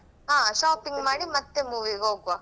ಹಾ shopping ಮಾಡಿ ಮತ್ತೆ movie ಗೆ ಹೋಗ್ವಾ.